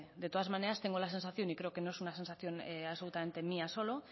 de todas maneras tengo la sensación y creo que no es una sensación absolutamente mía solo